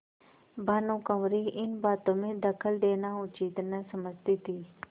भानुकुँवरि इन बातों में दखल देना उचित न समझती थी